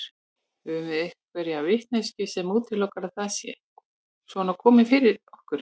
Höfum við einhverja vitneskju sem útilokar að það sé svona komið fyrir okkur?